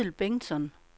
Edel Bengtsson